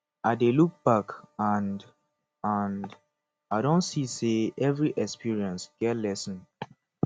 i dey look back and and i don see say every experience get lesson